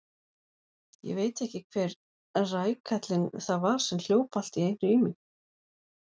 Ég veit ekki hver rækallinn það var sem hljóp allt í einu í mig.